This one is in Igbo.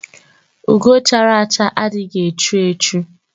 Ugo chara acha adịghị echu echu